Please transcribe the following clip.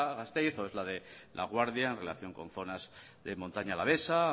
gasteiz o es la de laguardia en relación con zonas de montaña alavesa